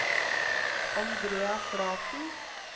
Andrea Flaten